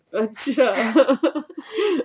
ਅੱਛਾ